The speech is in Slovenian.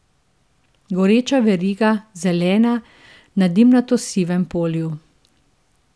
Goreča veriga, zelena, na dimnato sivem polju.